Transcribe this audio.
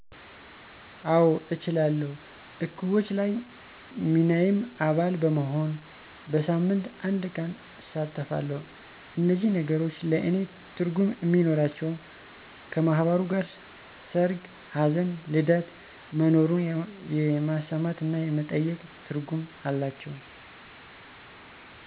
አወ እችላለሁ እቁቦች ላይ ሚናየም አባል በመሆን በሳሞት አንድቀን እሳተፈለሁ እነዚህ ነገሮች ለእኔ ትርጉም እሚኖራቸው ከማህበሩ ጋር ሰርግ፣ ሀዘን፣ ልደት መኖሩን የመሰማት እና የመጠየቅ ትርጉም አላቸው።